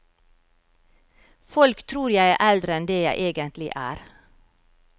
Folk tror jeg er eldre enn det jeg egentlig er.